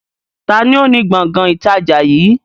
Taàní ó ní Gbọ̀ngán ìtajà yìí?